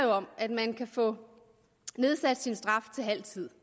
om at man kan få nedsat sin straf til halv tid